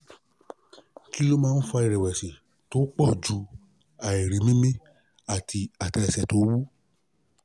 kí ló ń fa ìrẹ̀wẹ̀sì tó poju àìrí mimí àti atẹlesẹ to wu?